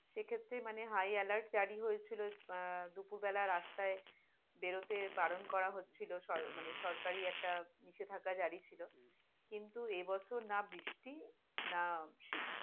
সেক্ষেত্রে মানে high alert জারি হয়েছিল আহ দুপুর বেলাই রাস্তাই বেরতে বারন করা হছহিল মানে সরকারি একটা নিষেধাজ্ঞা জারি ছিল, কিন্তু এবছর না বৃষ্টি না শীত।